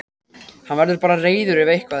Hann verður bara reiður ef eitthvað er.